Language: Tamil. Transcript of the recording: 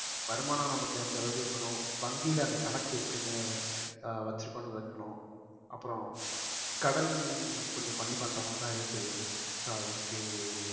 வருமானம் நமக்கு அந்த அளவுக்கு இருக்கணும் வங்கியில அந்த கணக்கு எப்படி ஆஹ் வச்சிருக்கணும் வைக்கணும் அப்புறம் கடன் கொஞ்சம் பண்ணி பண்ற மாதிரிதான் இருக்குது so அதுக்கு